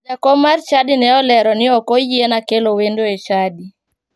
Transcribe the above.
Jakom mar chadi ne olero ni ok oyiena kelo wendo e chadi.